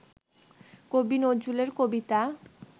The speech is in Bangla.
কবি নজরুলের কবিতা